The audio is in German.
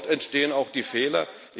Dort entstehen auch die Fehler.